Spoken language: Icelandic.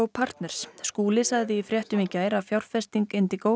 partners Skúli sagði í fréttum í gær að fjárfesting